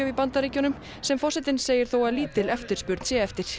í Bandaríkjunum sem forsetinn segir þó að lítil eftirspurn sé eftir